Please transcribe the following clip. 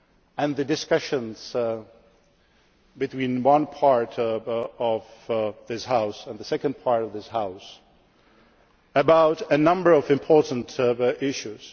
and the discussions between one part of this House and the second part of this House about a number of important